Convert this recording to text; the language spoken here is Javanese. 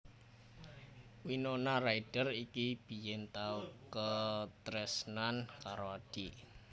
Winona Ryder iki biyen tau katresnan karo Adi